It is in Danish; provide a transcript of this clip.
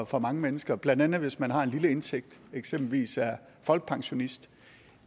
for mange mennesker blandt andet hvis man har en lille indtægt og eksempelvis er folkepensionist